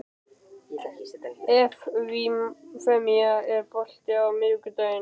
Evfemía, er bolti á miðvikudaginn?